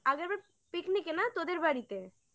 আগেরবার picnic না তোদের বাড়িতে